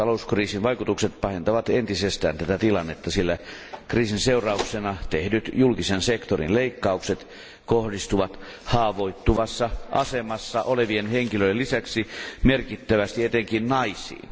Nyt talouskriisin vaikutukset pahentavat entisestään tätä tilannetta, sillä kriisin seurauksena tehdyt julkisen sektorin leikkaukset kohdistuvat haavoittuvassa asemassa olevien henkilöiden lisäksi merkittävästi etenkin naisiin.